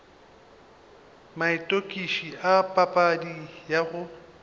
maitokišo a papadi ya gago